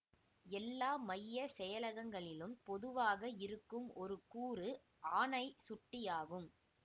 எல்லா மையச் செயலகங்களிலும் பொதுவாக இருக்கும் ஒரு கூறு ஆணைச்சுட்டியாகும்